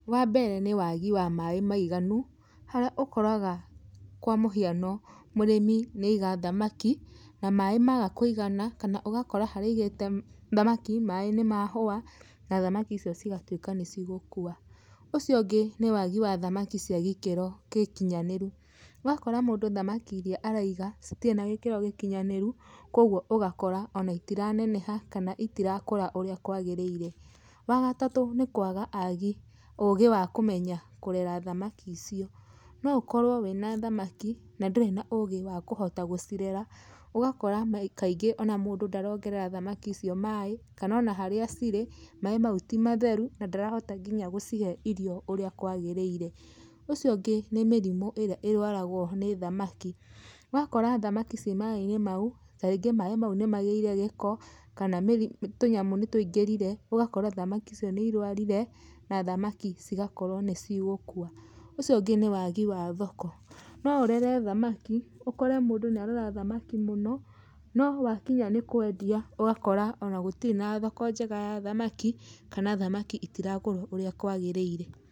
Wambere nĩ wagi wa maaĩ maiganu harĩa ũkoraga kwa mũhiano, mũrĩmi nĩ aiga thamaki na maaĩ maga, kana ũgakora harĩa aigĩte thamaki, maaĩ nĩmahũa na thamaki icio cigatuĩka nĩcigũkua. Ũcio ũngĩ nĩ wagi wa thamaki cia gĩkĩro gĩkinyanĩru. Ũgakora mũndũ thamaki iria araiga citirĩ na gĩkĩro gĩkĩnyanĩru, kwogwo ũgakora ona itiraneneha kana itirakũra ũria kwagĩrĩire. Wagatatũ nĩ kwaga agi, ũgĩ wa kũmenya kũrera thamaki icio. No ũkorwo wĩna thamaki na ndũrĩ na ũgĩ wa kũhota gũcirera, ũgakora kaingĩ ona mũndũ ndarongerera thamaki icio maaĩ, kana ona harĩa cirĩ maaĩ mau ti matheru na ndarahota nginya gũcihe irio ũrĩa kwagĩrĩire. Ũcio ũngĩ nĩ mĩrimũ ĩrĩa ĩrwaragwo nĩ thamaki. Ũgakora thamaki ciĩ maaĩ-inĩ mau, tarĩngĩ maaĩ mau nĩmagĩire gĩko, kana mĩri, tũnyamũ nĩtũingĩrire ũgakora thamaki icio nĩ irwarire, na thamaki cigakorwo nĩcigũkua. Ũcio ũngĩ nĩ wagi wa thoko. No ũrere thamaki, ũkore mũndũ nĩ arera thamaki mũno, no wakinya nĩ kwendia ũgakora ona gũtirĩ na thoko njega ya thamaki, kana thamaki itiragũrwo ũrĩa kwagĩrĩire.